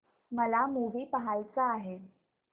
मला मूवी पहायचा आहे